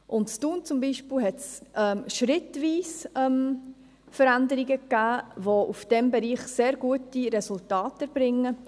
In Thun zum Beispiel gab es schrittweise Veränderungen, welche in diesem Bereich sehr gute Resultate bringen.